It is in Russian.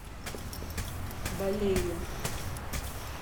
балею